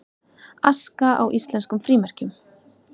Aska á íslenskum frímerkjum